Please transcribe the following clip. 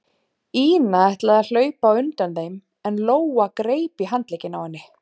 Ína ætlaði að hlaupa á undan þeim en Lóa greip í handlegginn á henni.